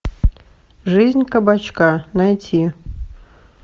жизнь кабачка найти